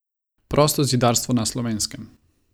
Prostozidarstvo na Slovenskem.